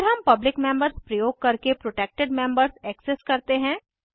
फिर हम public members प्रयोग करके प्रोटेक्टेड मेम्बर्स एक्सेस करते हैं